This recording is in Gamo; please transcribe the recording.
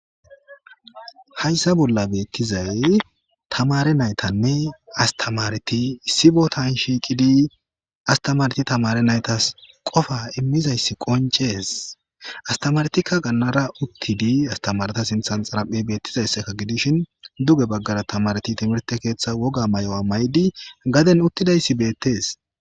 Hayssa bolla beettizay tamare naytanne astamareti issibo tan shiiqidi astamareti tamare naytas qofa immizayssi qoncees astamaretikka gannara uttidi astamareta sinthan xaraphe beettizaysseka gidishin duge baggara tamareti timirte keeththa woga may7o a may7di gaden uttidayssi beettees.